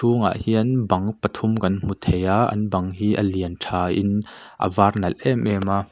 hungah hian bang pathum kan hmu theia an bang hi a lian ṭhain a var nalh em em a.